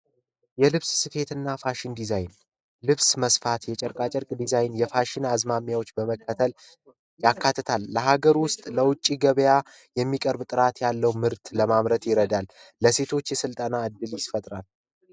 የልብስ ስፌትና ፋሽን ዲዛይን ልብስ መስፋት የጨርቃ ጨርቅ ዲዛይን የፋሽን አዝማሚያዎች በመከተል ያካትታል። ለሀገር ውስጥ፣ ለውጭ ገበያ የሚቀርብ ጥራት ያለው ምርት ለማምረት ይረዳል፤ ለሴቶች የስልጠና እድል ይፈጥራል።